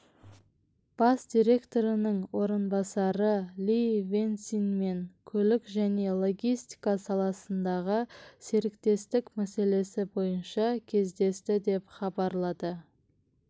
бас директорының орынбасары ли вэньсинмен көлік және логистика саласындағы серіктестік мәселесі бойынша кездесті деп хабарлады